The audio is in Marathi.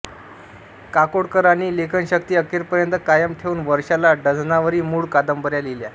काकोडकरांनी लेखनशक्ती अखेरपर्यंत कायम ठेवून वर्षाला डझनावरी मूळ कादंबऱ्या लिहिल्या